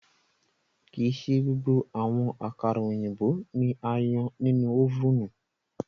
Kii ṣe gbogbo awọn akara oyinbo ni a yan ninu ovunu